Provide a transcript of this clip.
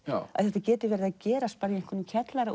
að þetta geti verið að gerast í einhverjum kjallara